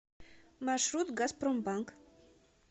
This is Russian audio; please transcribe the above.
маршрут газпромбанк